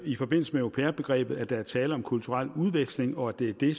i forbindelse med au pair begrebet at der er tale om kulturel udveksling og at det er det